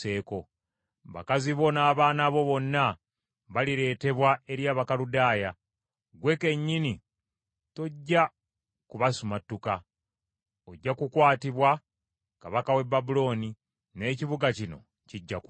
“Bakazi bo n’abaana bo bonna balireetebwa eri Abakaludaaya. Ggwe kennyini tojja kubasumattuka ojja kukwatibwa kabaka w’e Babulooni; n’ekibuga kino kijja kwokebwa.”